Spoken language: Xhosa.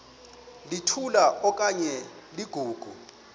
litola okanye ligogo